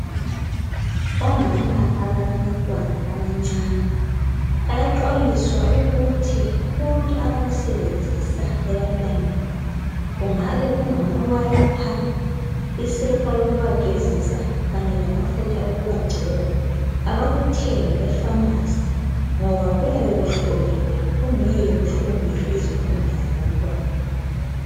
Omama abalabantwana abancane bayaxwayiswa ukuthi konke abakusebenzisa ebantwaneni , kungabe kungama wiper , isepa yokubagezisa kanye lamafutha okubagcoba abakuthenge epharmacy ngoba kuyabe kuhloliwe kungeke kuhlukumeze izikhumba zabantwana